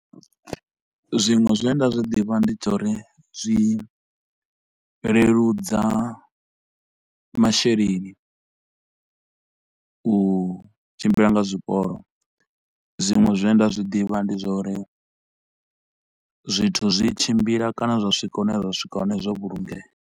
Zwiṅwe zwine nda zwi ḓivha ndi zwa uri zwi leludza masheleni u tshimbila nga zwiporo, zwiṅwe zwine nda zwiḓivha ndi zwa uri zwithu zwi tshimbila kana zwa swika hune zwa swika hone zwo vhulungeya.